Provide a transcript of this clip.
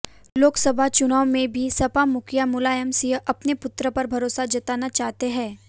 लोकसभा चुनाव में भी सपा मुखिया मुलायम सिंह अपने पुत्र पर भरोसा जताना चाहते हैं